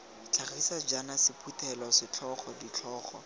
tlhagiso jaaka sephuthelo setlhogo ditlhogo